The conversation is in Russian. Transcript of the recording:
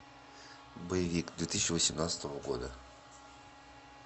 боевик две тысячи восемнадцатого года